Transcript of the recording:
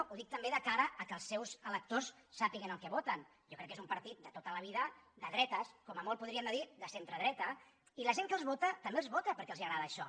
ho dic també de cara que els seus electors sàpiguen el que voten jo crec que és un partit de tota la vida de dretes com a molt podríem dir ne de centre dreta i la gent que els vota també els vota perquè els agrada això